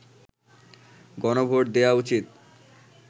গণভোট দেয়া উচিৎ